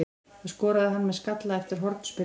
Það skoraði hann með skalla eftir hornspyrnu.